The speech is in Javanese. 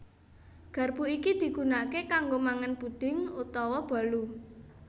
Garpu iki digunaké kanggo mangan puding utawa bolu